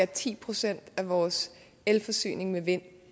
ti procent af vores elforsyning med vind